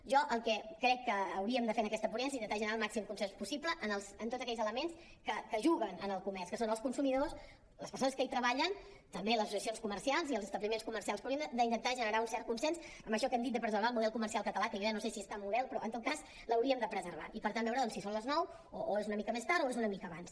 jo el que crec que hauríem de fer en aquesta ponència és intentar generar el màxim consens possible en tots aquells elements que juguen en el comerç que són els consumidors les persones que hi treballen també les associacions comercials i els establiments comercials però hauríem d’intentar generar un cert consens amb això que hem dit de preservar el model comercial català que jo ja no sé si és tan model però en tot cas l’hauríem de preservar i per tant veure si són les nou o és una mica més tard o és una mica abans